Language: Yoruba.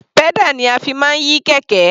Pedal ni a fi máa ń yí kẹ̀kẹ́.